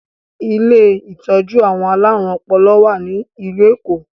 Ilé ìtọ́jú àwọn alárùn ọpọlọ wá ní ìlú Èkó